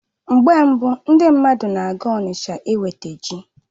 Mgbe mbu, ndị mmadụ na-aga Onitsha inweta ji